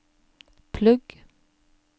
plugg